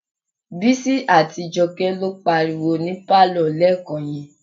Bísí àti Jọkẹ́ ló ń pariwo ní pálọ̀ lẹ́ẹ̀kan yẹn.